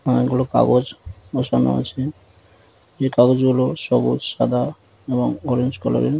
অনেক গুলো কাগজ বসানো আছে এই কাগজগুলো সবুজ সাদা এবং অরেঞ্জ কালারের ।